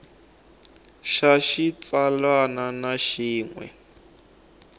xa xitsalwana na xin we